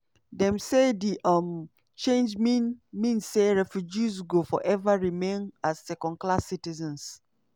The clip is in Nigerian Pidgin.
dem say di um change mean mean say "refugees go forever remain as second class citizens".